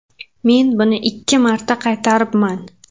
Men buni ikki marta qaytaribman.